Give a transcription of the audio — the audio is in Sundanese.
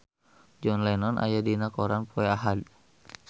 John Lennon aya dina koran poe Ahad